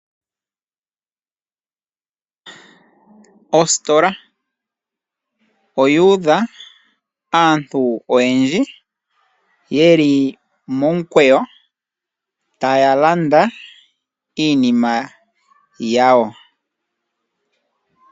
Ositola oyuudha aantu oyendji ye li momukweyo taya landa iipumbiwanima yawo.